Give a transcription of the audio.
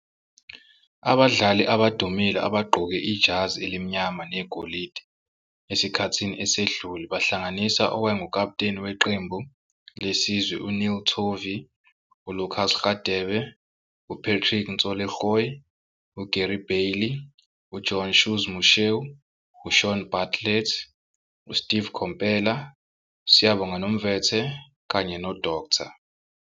Abadlali abadumile abagqoke ijazi elimnyama negolide esikhathini esidlule bahlanganisa owayengukaputeni weqembu lesizwe U-Neil Tovey ULucas Radebe, UPatrick Ntsoelengoe, UGary Bailey, uJohn "Shoes" Moshoeu, UShaun Bartlett, USteve Komphela, Siyabonga Nomvete, kanye noDkt.